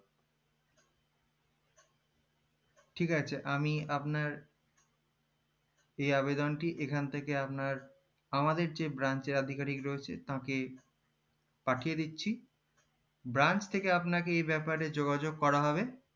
ঠিক আছে আমি আপনার এই আবেদনটি এখান থেকে আপনার আমাদের যে branch আধিকারিক রয়েছে তাকে পাঠিয়ে দিচ্ছি branch থেকে আপনাকে এই ব্যাপারে যোগ্য করা হবে